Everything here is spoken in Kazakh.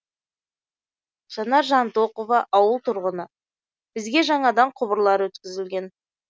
жанар жантоқова ауыл тұрғыны бізге жаңадан құбырлар өткізілген